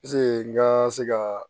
Piseke n ka se ka